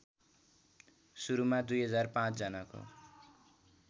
सुरुमा २००५ जनाको